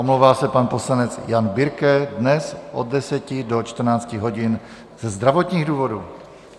Omlouvá se pan poslanec Jan Birke dnes od 10 do 14 hodin ze zdravotních důvodů.